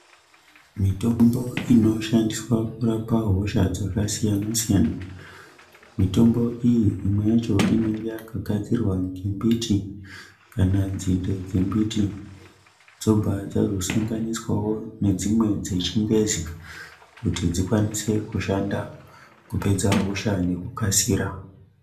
Mitombo ino shandiswa kurapa hosha dzaka siyana siyana mitombo iyi imwe yacho inenge yaka gadzirwa nge mbiti kana nzinde dze mbiti dzobva dzazo sanganiswawo nedzimwe dze chingezi kuti dzikwanise kushanda kupedza hosha neku kasira.